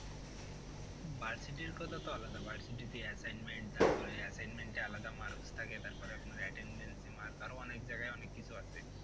ভার্সিটির কথা তো আলাদা ভার্সিটিতে assignment তারপরে assignment এ আলাদা marks থাকে তারপরে আপনার attendance এ mark আরো অনেক জায়গায় অনেক কিছু আছে।